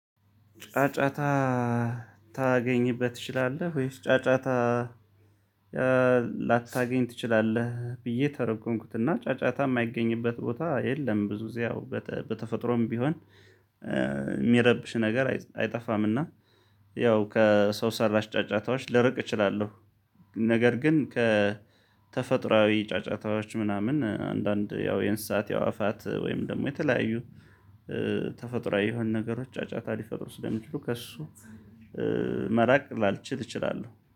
ጫጫታ ታገኝበት ትችላለህ? ወይስ ጫጫታ ላታገኝ ትችላለህ። ብዬ ተረጎምኩትና ጫጫታ የማይገኝበት ቦታ የለም። ብዙ ጊዜ ያው በተፈጥሮም ቢሆን የሚረብሽ ነገር አይጠፋምና። ያው ከሰው ሰራሽ ጫጫታዎች ልርቅ እችላለሁ። ነገር ግን ከተፈጥሮአዊ ጫጫታዎች ምናምን አንዳንድ ያው የርንስሃት የአዕዋፋት ወይም ደግሞ የተለያዩ ተፈጥሮአዊ የሆነ ነገሮች ጫጫታ ሊፈጥሩ ስለሚችሉ ከእሱ መራቅ ላልችል እችላለሁ